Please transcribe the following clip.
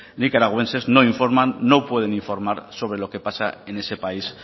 nicaragüenses no informan no pueden informar sobre lo que pasa en ese país